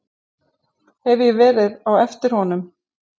Hef ég verið á eftir honum?